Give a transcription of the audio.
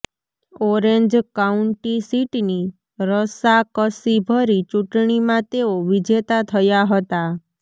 orange county સીટની રસાકસીભરી ચૂંટણીમાં તેઓ વિજેતા થયા હતા